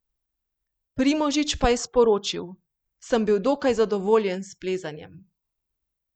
Primožič pa je sporočil: "Sem bil dokaj zadovoljen s plezanjem.